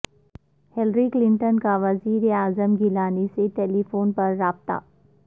Hillary Clinton کا وزیراعظم گیلانی سے ٹیلی فون پر رابطہ